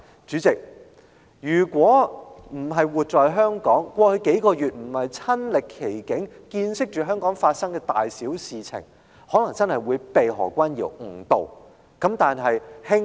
主席，如果不是活在香港，過去數個月沒有親歷其境，見識香港發生的大小事情，我恐怕真的會被何君堯議員誤導。